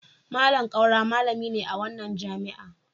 Malam Kaura malami ne a wannan jami'a.